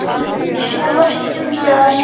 Sú var dugleg að skrifa.